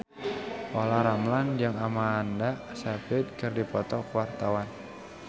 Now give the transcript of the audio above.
Olla Ramlan jeung Amanda Sayfried keur dipoto ku wartawan